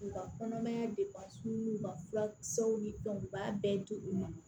U ka kɔnɔmaya u ka furakisɛw ni u b'a bɛɛ di u ma